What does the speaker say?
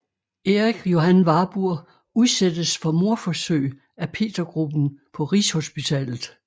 Erik Johan Warburg udsættes for mordforsøg af Petergruppen på Rigshospitalet